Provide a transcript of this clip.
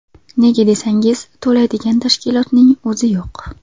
Nega desangiz, to‘laydigan tashkilotning o‘zi yo‘q.